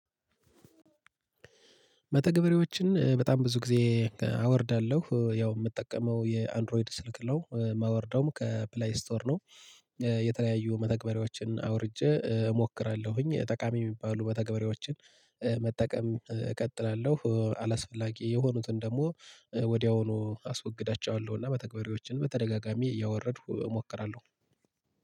መተግበሬዎችን በጣም ብዙ ጊዜ አወርዳለሁ ያው የምጠቀመው የአንድሮይድ ስልክ ነው የማወርደውም ከፕላይ ስቶር ነው። የተለያዩ መተግበሬዎችን አውርጄ እሞክራለሁኝ ጠቃሚ የሚባሉ መተግበሬዎችን መጠቀም እቀጥላለሁ አላስፈላጊ የሆኑትን ደግሞ ወዲያውኑ አስወግዳቸዋለሁ። እና መተግበሪያዎችን በተደጋጋሚ እያወረድኩ እሞክራለሁ።